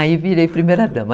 Aí virei primeira dama.